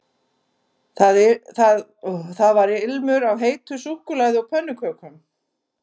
Það var ilmur af heitu súkkulaði og pönnukökum